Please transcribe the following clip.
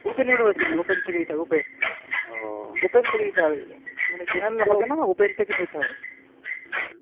open university open থেকে open থেকে যেটা হবে মানে general হবেনা open থেকে দিতে হবে।